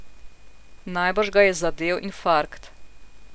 Najbrž ga je zadel infarkt.